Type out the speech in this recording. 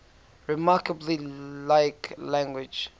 remarkably like language